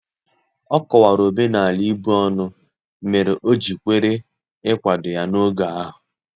Ọ kọwara omenala ibu ọnụ mere o ji kwere ikwado ya n'oge ahu